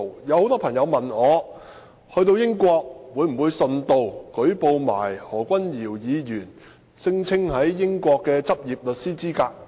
有很多朋友問我，到了英國會否順道連同舉報何君堯議員聲稱在英國具有的執業律師資格？